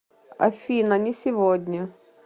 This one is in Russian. афина не сегодня